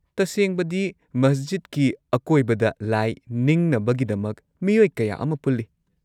ꯇꯁꯦꯡꯕꯗꯤ, ꯃꯁꯖꯤꯗꯀꯤ ꯑꯀꯣꯏꯕꯗ ꯂꯥꯏ ꯅꯤꯡꯅꯕꯒꯤꯗꯃꯛ ꯃꯤꯑꯣꯏ ꯀꯌꯥ ꯑꯃ ꯄꯨꯜꯂꯤ꯫